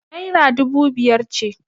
Naira dubu biyar ce.